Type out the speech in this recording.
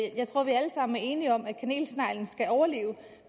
vi alle sammen er enige om at kanelsneglen skal overleve